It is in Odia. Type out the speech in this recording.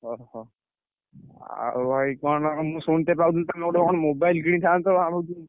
ଓହୋ! ଆଉ ଭାଇ କଣ ମୁଁ ଶୁଣିତେ ପାଉଥିଲି ତମେ ଗୋଟେ କଣ mobile କିଣିଥାନ୍ତ?